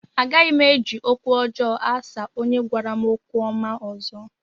Agaghị m eji okwu ọjọọ asa onye gwara m okwu ọma ọzọ